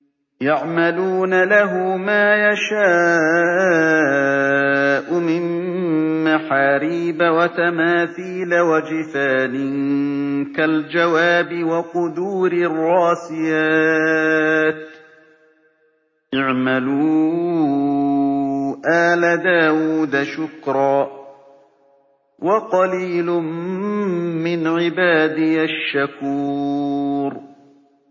يَعْمَلُونَ لَهُ مَا يَشَاءُ مِن مَّحَارِيبَ وَتَمَاثِيلَ وَجِفَانٍ كَالْجَوَابِ وَقُدُورٍ رَّاسِيَاتٍ ۚ اعْمَلُوا آلَ دَاوُودَ شُكْرًا ۚ وَقَلِيلٌ مِّنْ عِبَادِيَ الشَّكُورُ